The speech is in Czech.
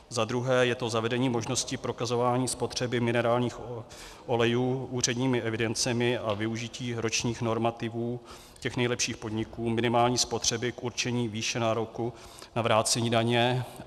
Za druhé je to zavedení možnosti prokazování spotřeby minerálních olejů úředními evidencemi a využití ročních normativů těch nejlepších podniků minimální spotřeby k určení výše nároku na vrácení daně.